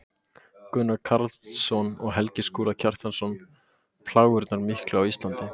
Gunnar Karlsson og Helgi Skúli Kjartansson: Plágurnar miklu á Íslandi